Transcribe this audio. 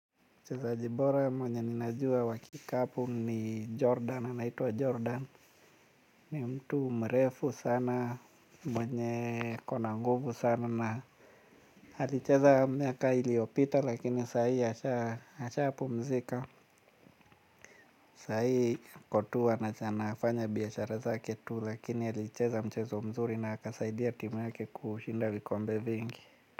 Mchezaji bora mwenye ninajua wakikapu ni Jordan, anaitwa Jordan, ni mtu mrefu sana mwenye ako na nguvu sana na alicheza miaka iliopita lakini sahi ashapumzika, sahi ako tu anafanya biashara zake tu lakini alicheza mchezo mzuri na akasaidia timu yake kushinda vikombe vingi.